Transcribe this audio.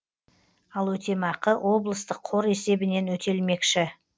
ал өтемақы облыстық қор есебінен өтелмекші